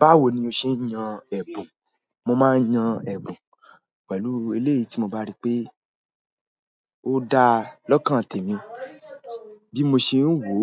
Báwo ni o ṣe ń yan ẹ̀bùn? Mo máa ń yan ẹ̀bùn pẹ̀lú eléyìí tí mo bá rí pé ó da lọ́kàn tèmi bí mo ṣe ń wò ó